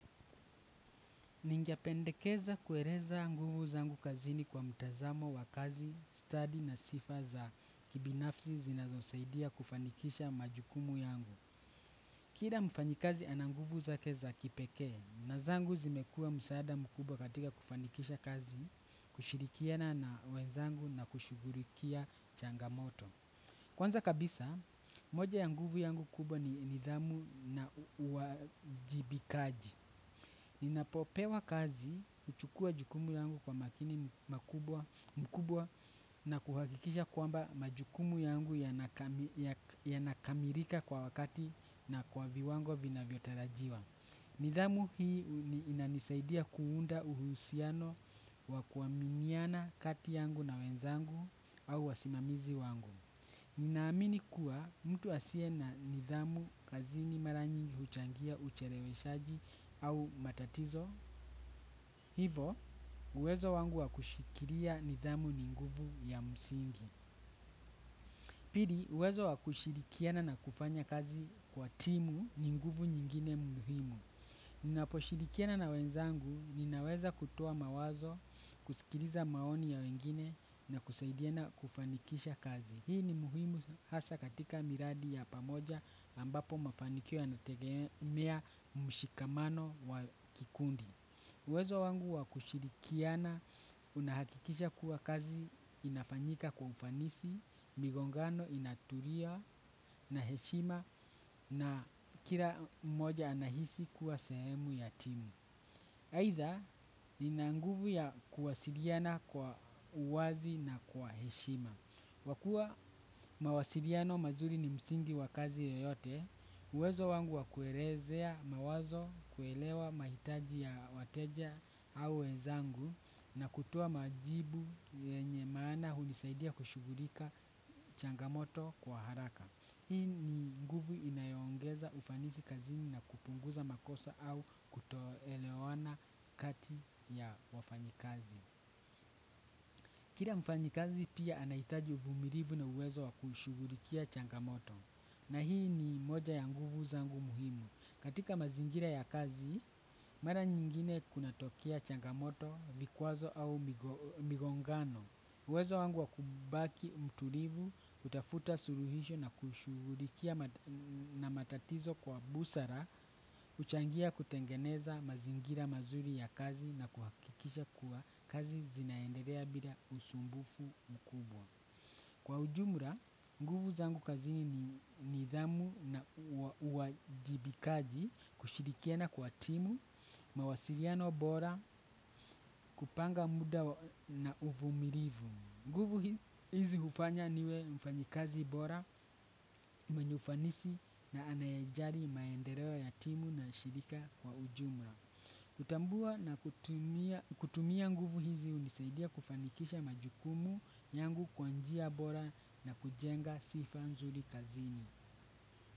Ningependekeza kueleza nguvu zangu kazini kwa mtazamo wa kazi, stadi na sifa za kibinafsi zinazosaidia kufanikisha majukumu yangu. Kila mfanyikazi ana nguvu zake za kipeke na zangu zimekua msaada mkubwa katika kufanikisha kazi, kushirikiana na wenzangu na kushugulikia changamoto. Kwanza kabisa, moja ya nguvu yangu kubwa ni nidhamu na uajibikaji. Ninapopewa kazi, uchukua jukumu yangu kwa makini mkubwa na kuhakikisha kwamba majukumu yangu yanakamilika kwa wakati na kwa viwango vinavyotarajiwa. Nidhamu hii inanisaidia kuunda uhusiano wa kuwaminiana kati yangu na wenzangu au wasimamizi wangu. Ninaamini kuwa mtu asie na nidhamu kazini mara nyingi huchangia ucheleweshaji au matatizo. Hivo, uwezo wangu wakushikilia nidhamu ni nguvu ya msingi. Pili, uwezo wa kushirikiana na kufanya kazi kwa timu ni nguvu nyingine muhimu. Ninapo shirikiana na wenzangu, ninaweza kutoa mawazo, kusikiliza maoni ya wengine na kusaidiana kufanikisha kazi. Hii ni muhimu hasa katika miradi ya pamoja ambapo mafanikio yana tegemea mshikamano wa kikundi. Uwezo wangu wakushirikiana unahakikisha kuwa kazi inafanyika kwa ufanisi, migongano inatulia na heshima na kila mmoja anahisi kuwa sehemu ya timu. Aidha nina nguvu ya kuwasiliana kwa uwazi na kwa heshima. Kwa kuwa mawasiliano mazuri ni msingi wa kazi yoyote, uwezo wangu wakuelezea mawazo kuelewa mahitaji ya wateja au wenzangu na kutoa majibu yenye maana hunisaidia kushughulika changamoto kwa haraka. Hii ni nguvu inayoongeza ufanisi kazini na kupunguza makosa au kutoelewana kati ya wafanyikazi. Kila mfanyikazi pia anahitaji uvumilivu na uwezo wa kushughulikia changamoto. Na hii ni moja ya nguvu zangu muhimu. Katika mazingira ya kazi mara nyingine kunatokea changamoto, vikwazo au migongano. Uwezo wangu wa kubaki mtulivu, kutafuta suluhihsho na kushughulikia na matatizo kwa busara, huchangia kutengeneza mazingira mazuri ya kazi na kuhakikisha kuwa kazi zinaendelea bila usumbufu mkubwa. Kwa ujumla, nguvu zangu kazini ni nidhamu na uwajibikaji, kushirikiana kwa timu, mawasiliano bora, kupanga muda na uvumilivu. Nguvu hizi hufanya niwe mfanyikazi bora, mwenye ufanisi na anaye ajali maendeleo ya timu na shirika kwa ujumla. Kutambua na kutumia nguvu hizi unisaidia kufanikisha majukumu yangu kwa njia bora na kujenga sifa nzuri kazini.